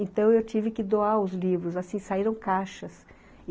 Então, eu tive que doar os livros, assim, saíram caixas.